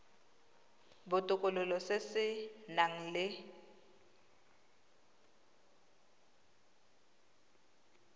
botokololo se se nang le